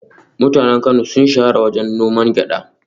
Mutanen Kano sun shahara wajen noman gyada